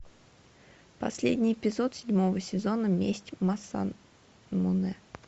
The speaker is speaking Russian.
последний эпизод седьмого сезона месть масамунэ